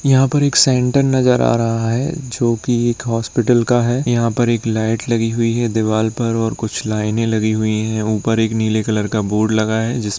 यहाँ एक सेंटर नजर आ रहा है जो की एक हॉस्पिटल का है। यहां पर एक लाइट लगी हुई है दीवाल पर और कुछ लाइनें लगी हुई हैं। ऊपर एक नीले कलर का बोर्ड लगा है जिसमे --